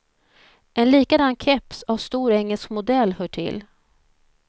En likadan keps av stor engelsk modell hör till.